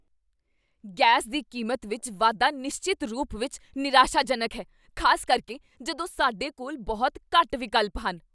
Gas ਦੀ ਕੀਮਤ ਵਿੱਚ ਵਾਧਾ ਨਿਸ਼ਚਿਤ ਰੂਪ ਵਿੱਚ ਨਿਰਾਸ਼ਾਜਨਕ ਹੈ, ਖ਼ਾਸ ਕਰਕੇ ਜਦੋਂ ਸਾਡੇ ਕੋਲ ਬਹੁਤ ਘੱਟ ਵਿਕਲਪ ਹਨ।